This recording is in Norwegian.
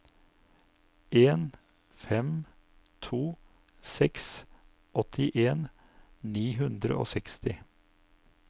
en fem to seks åttien ni hundre og seksti